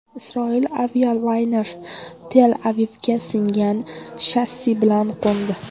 Isroil avialayneri Tel-Avivga singan shassi bilan qo‘ndi.